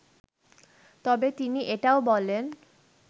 তবে তিনি এটাও বলেন